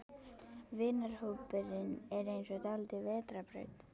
Vinahópurinn er eins og dálítil vetrarbraut.